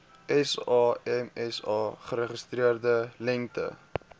samsa geregistreerde lengte